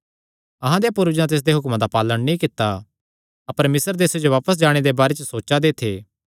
अहां देयां पूर्वजां तिसदे हुक्मां दा पालण नीं कित्ता अपर मिस्र देसे जो बापस जाणे दे बारे च सोचा दे थे